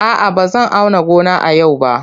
A'a, ba zan auna gona a yau ba.